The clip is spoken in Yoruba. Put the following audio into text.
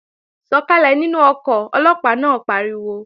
Sọ̀kàlẹ̀ nínú ọkọ̀, Ọlọ́pàá náà pariwo!